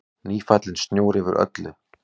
Nýfallinn snjór yfir öllu.